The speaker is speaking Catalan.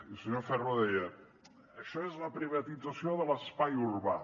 el senyor ferro deia això és la privatització de l’espai urbà